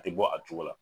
A tɛ bɔ a cogo la